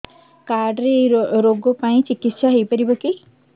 card ରେ ଏଇ ରୋଗ ପାଇଁ ଚିକିତ୍ସା ହେଇପାରିବ କି